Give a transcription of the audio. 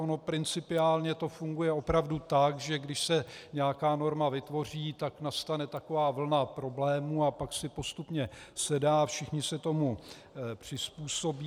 Ono principiálně to funguje opravdu tak, že když se nějaká norma vytvoří, tak nastane taková vlna problémů a pak si postupně sedá, všichni se tomu přizpůsobí.